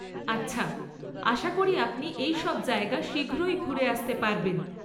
আচ্ছা, আশা করি আপনি এইসব জায়গা শীঘ্রই ঘুরে আসতে পারবেন।